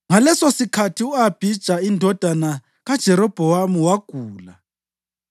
Ngalesosikhathi u-Abhija indodana kaJerobhowamu wagula,